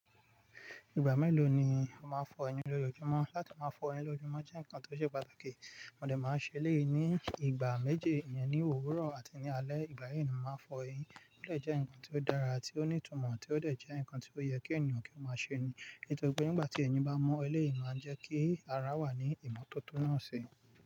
Ìgbà mélòó ni o máa ń fọ eyín lójoojúmọ́? Látí máa fọ eyín lójojúmọ́ jẹ́ nǹkan tó ṣe pàtàkì. Mọn de máa ń ṣe éleyii ní ìgbà méji, ìyẹn ní òwúrọ̀ àti ní alẹ́. Ìgbà yìí ni mọ́ máa ń fọ eyín, eléyìí jẹ́ nǹkan tó dára ti ó ní ìtumọ̀, tí ó dẹ̀ jẹ́ nǹkan tí ó yẹ kí ènìyàn kí ó máa ṣe ni. Nítorí pé nígbà tí eyín bá mọ́ eleyii ni o máa jẹ́ kí ara wà ní ìmọ́tótó náà ṣe.